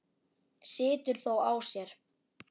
Situr þó á sér.